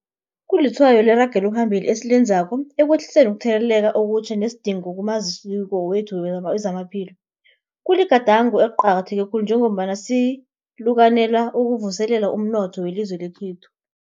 Kulitshwayo leragelo phambili esilenzako ekwehliseni ukutheleleka okutjha nesidingo kumaziko wethu wezamaphilo. Kuligadango eliqakatheke khulu njengombana sikalukanela ukuvuselela umnotho welizwe lekhethu.